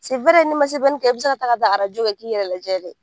n'i ma i bɛ se ka ta taa arajo kɛ k'i yɛrɛ lajɛ dɛ!